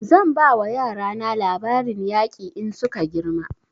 Zan ba wa yara na labarin yaƙi in suka girma